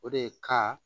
O de ka